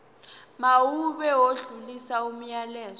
mawube odlulisa umyalezo